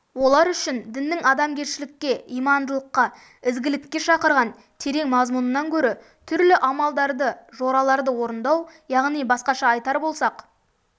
олар үшін діннің адамгершілікке имандылыққа ізгілікке шақырған терең мазмұнынан көрі түрлі амалдарды жораларды орындау яғни басқаша айтар болсақ